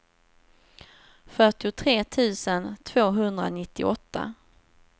fyrtiotre tusen tvåhundranittioåtta